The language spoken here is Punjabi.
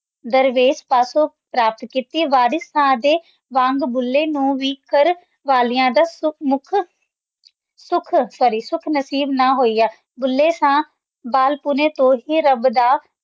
ਦਰਵੇਸ਼ ਕੱਕੜ ਐਕਟਿਵ ਅਰਸ਼ ਮਾਲੀ ਤੇ ਮੁਗਲਾਂਵਾਲੀ ਕੋਲ ਰੱਖੋ ਸਿਖ ਸੁਰਿ ਸੁਕਨਿਸਿ ਬਨਾਏ ॥ ਬੁੱਲ੍ਹੇ ਸ਼ਾਹ ਵੀ ਪਾਲਤੂ ਹੈ